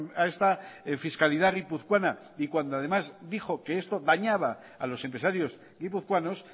a esta fiscalidad guipuzcoana y cuando además dijo que esto dañaba a los empresarios guipuzcoanos